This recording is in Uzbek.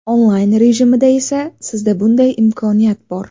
Onlayn rejimida esa sizda bunday imkoniyat bor.